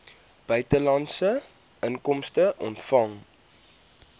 buitelandse inkomste ontvang